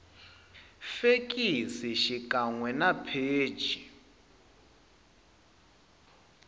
fekisi xikan we na pheji